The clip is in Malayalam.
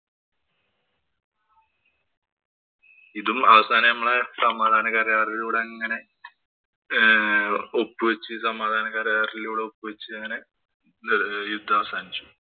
ഇതും അവസാനം നമ്മടെ സമാധാനകരാറിലൂടെ അങ്ങനെ ഒപ്പുവച്ചു. സമാധാന കരാറിലൂടെ ഒപ്പ് വച്ച് അങ്ങനെ യുദ്ധം അവസാനിച്ചു.